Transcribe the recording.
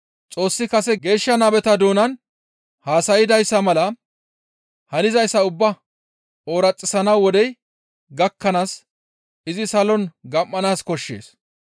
Xoossi kase geeshsha nabeta doonan haasaydayssa mala hanizayssa ubbaa ooraxissana wodey gakkanaas izi salon gam7anaas koshshees.